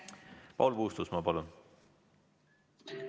Paul Puustusmaa, palun!